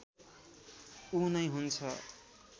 ऊ नै हुन्छ